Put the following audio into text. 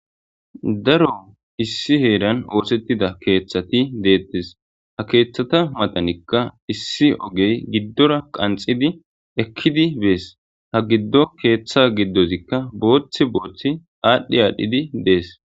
daro issi heeran oosettida keeththati deettes ha keeththata matanikka issi ogey giddora qanxidi ekkidi bees ha giddo keeththa giddozikka booththi booththi aadhdhi aadhdhidi dees